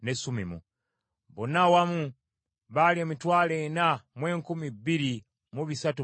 Bonna awamu baali emitwalo ena mu enkumi bbiri mu bisatu mu nkaga (42,360),